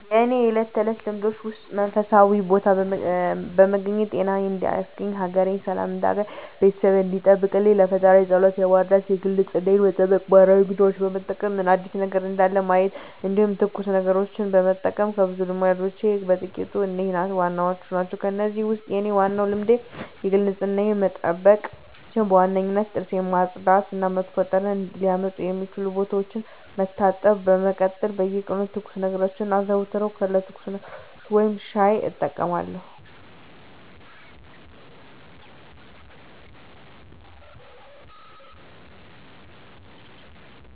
የእኔ ከእለት ተለት ልማዶቼ ውስጥ መንፈሳዊ ቦታ በመገኘት ጤናየን እንዲሰጠኝ፣ ሀገሬን ሰላም እንዲያደርግልኝ፣ ቤተሰቤን እንዲጠብቅልኝ ለፈጣሪየ ፀሎት መድረስ የግል ንፅህናየን መጠበቅ ማህበራዊ ሚዲያዎችን በመጠቀም ምን አዲስ ነገር እንዳለ ማየት እንዲሁም ትኩስ ነገሮችን መጠቀም ከብዙ ልማዶቼ በጥቂቱ እነዚህ ዋናዎቹ ናቸው። ከእነዚህ ውስጥ የኔ ዋናው ልማዴ የግል ንፅህናዬን መጠበቅ ሲሆን በዋነኝነት ጥርሴን ማፅዳት እና መጥፎ ጠረን ሊያመጡ የሚችሉ ቦታዎችን መታጠብ ነው። በመቀጠል በየቀኑ ትኩስ ነገሮችን አዘወትራለሁ ከትኩስ ነገሮች ውስጥ ሻይ እጠቀማለሁ።